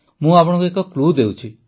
ମୁଁ ଆପଣଙ୍କୁ ଏକ କ୍ଲୁ ଦେଉଛି